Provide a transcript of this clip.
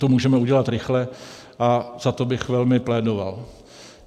To můžeme udělat rychle a za to bych velmi plédoval.